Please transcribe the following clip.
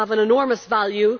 they have an enormous value.